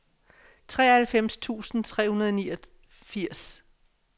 treoghalvfems tusind tre hundrede og niogfirs